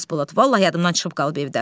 Xasbolat, vallah yadımdan çıxıb qalıb evdə.